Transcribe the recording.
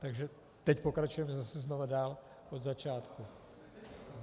Takže teď pokračujeme zase znova dál od začátku.